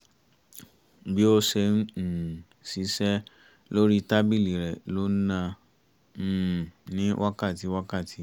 bí ó ṣe ń um ṣiṣẹ́ lórí tábìlì rẹ̀ ló ń nà um ní wákàtí wákàtí